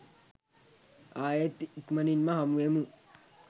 ආයෙත් ඉක්මණින්ම හමුවෙමු